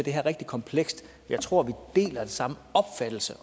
er rigtig komplekst jeg tror vi har samme opfattelse